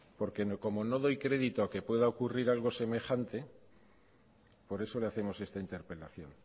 porque como no doy crédito a que pueda ocurrir algo semejante por eso le hacemos esta interpelación